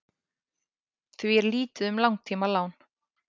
því er lítið um langtímalán